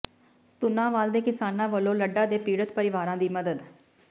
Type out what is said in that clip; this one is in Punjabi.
ਪੁੰਨਾਵਾਲ ਦੇ ਕਿਸਾਨਾਂ ਵਲੋਂ ਲੱਡਾ ਦੇ ਪੀੜਤ ਪਰਿਵਾਰਾਂ ਦੀ ਮਦਦ